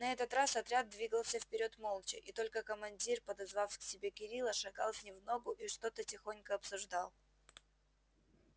на этот раз отряд двигался вперёд молча и только командир подозвав к себе кирилла шагал с ним в ногу и что-то тихонько обсуждал